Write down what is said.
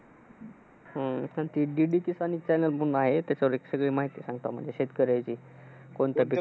हम्म पण ती DDP channel आहेत ते सगळी माहिती सांगतात. म्हणजे शेतकऱ्यांची, कोणतं पिकतं,